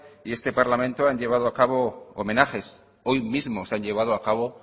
y este parlamento han llevado a cabo homenaje hoy mismo se han llevado a cabo